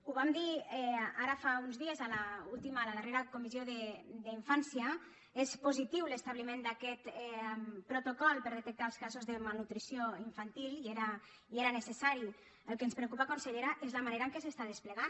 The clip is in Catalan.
ho vam dir ara fa uns dies a la última a la darrera comissió d’infància és positiu l’establiment d’aquest protocol per detectar els casos de malnutrició infantil i era necessari el que ens preocupa consellera és la manera en què s’està desplegant